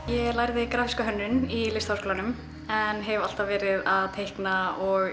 ég lærði grafíska hönnun í Listaháskólanum en hef alltaf verið að teikna og